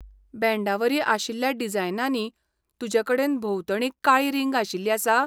बँडावरी आशिल्ल्या डिजायनांनी, तुजेकडेन भोंवतणी काळी रिंग आशिल्ली आसा?